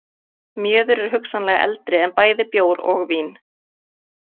Mjöður er hugsanlega eldri en bæði bjór og vín.